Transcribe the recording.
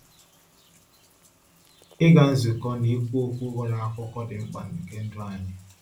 Ịga nzukọ na ikwu okwu ghọrọ akụkụ dị mkpa nke ndụ anyị.